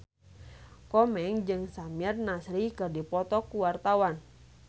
Komeng jeung Samir Nasri keur dipoto ku wartawan